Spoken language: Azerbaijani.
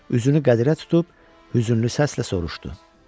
Üzünü qədirə tutub hüzünlü səslə soruşdu.